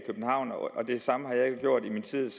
synes